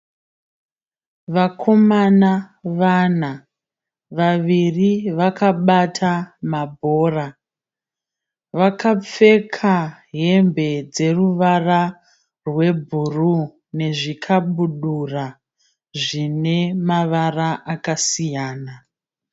Vakomana vana, vaviri vakabata mabhora. Vakapfeka hembe dzeruvara rwebhuruwu nezvikabudura zvinemavara akasiyana.